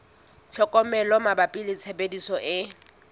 tlhokomelo mabapi le tshebediso e